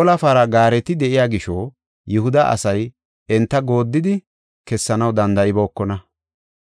ola para gaareti de7iya gisho, Yihuda asay enta gooddidi kessanaw danda7ibookona.